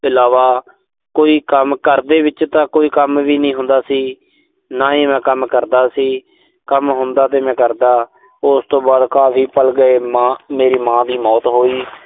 ਇਲਾਵਾ, ਕੋਈ ਕੰਮ। ਘਰ ਦੇ ਵਿੱਚ ਤਾਂ ਕੋਈ ਕੰਮ ਵੀ ਨੀਂ ਹੁੰਦਾ ਸੀ। ਨਾ ਹੀ ਮੈਂ ਕੰਮ ਕਰਦਾ ਸੀ। ਕੰਮ ਹੁੰਦਾ ਤੇ ਮੈਂ ਕਰਦਾ। ਉਸ ਤੋਂ ਬਾਅਦ ਕਾਫ਼ੀ ਗਏ। ਮਾਂ ਮੇਰੀ ਮਾਂ ਦੀ ਮੌਤ ਹੋਈ